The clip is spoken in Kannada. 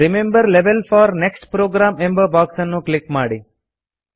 remember level four next program ಎಂಬ ಬಾಕ್ಸ್ ಅನ್ನು ಕ್ಲಿಕ್ ಮಾಡಿ